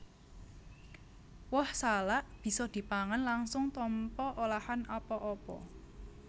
Woh salak bisa dipangan langsung tanpa olahan apa apa